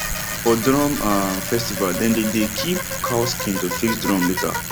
for drum um festival dem dey dey keep cow skin to fix drum later